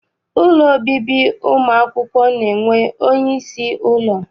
Ụlọ obibi ụmụakwụkwọ na-enwe onyeisi ụlọ.